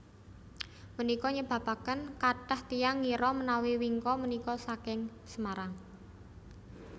Punika nyebabaken kathah tiyang ngira menawi wingko punika saking Semarang